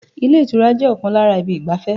Ilé ìtura jẹ́ ọ̀kan lára ibi ìgbafẹ́